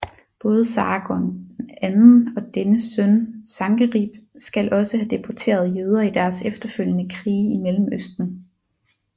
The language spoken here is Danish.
Både Sargon II og dennes søn Sankerib skal også have deporteret jøder i deres efterfølgende krige i Mellemøsten